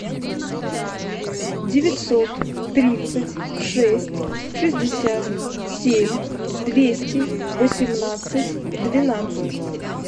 девятьсот тридцать шесть шестьдесят семь двести восемнадцать двенадцать